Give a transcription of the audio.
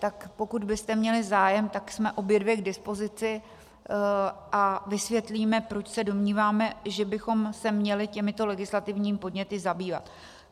Tak pokud byste měli zájem, tak jsme obě dvě k dispozici a vysvětlíme, proč se domníváme, že bychom se měli těmito legislativními podněty zabývat.